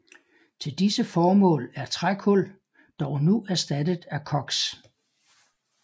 Til disse formål er trækul dog nu erstattet af koks